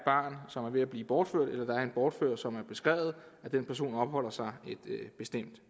ved at blive bortført eller at en bortført som er beskrevet opholder sig et bestemt